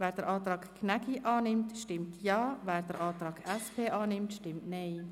Wer den Antrag Gnägi annimmt, stimmt Ja, wer den Antrag SP-JUSO-PSA annimmt, stimmt Nein.